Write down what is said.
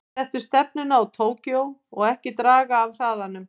Settu stefnuna á Tókýó og ekki draga af hraðanum.